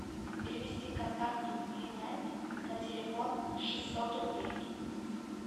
перевести контакту племянник на телефон шестьсот рублей